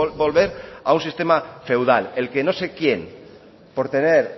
volver a un sistema feudal el que no sé quién por tener